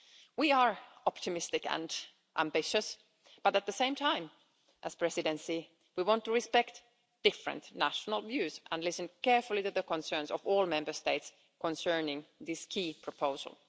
We are optimistic and ambitious but, at the same time, as the Presidency, we want to respect different national views and listen carefully to the concerns of all Member States concerning this key proposal.